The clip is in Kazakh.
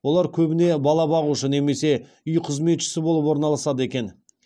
олар көбіне бала бағушы немесе үй қызметшісі болып орналасады екен